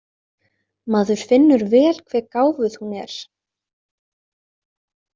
Maður finnur vel hve gáfuð hún er.